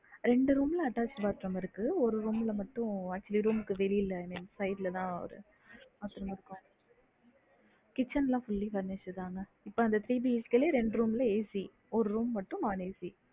ரெண்டு room ல attached bathroom இருக்கு ஒரு room ல மட்டும் actually room க்கு வெளிய side ல தான bathroom இருக்கும் kitchen லா fully furnished தா mam இப்ப அந்த ரெண்டு room ல AC ஒரு room மட்டும் hall AC